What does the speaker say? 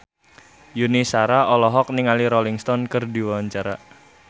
Yuni Shara olohok ningali Rolling Stone keur diwawancara